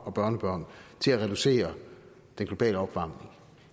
og børnebørn til at reducere den globale opvarmning